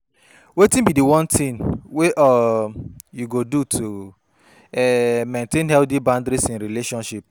wetin be di one thing wey um you go do to um maintain healthy boundaries in relationships?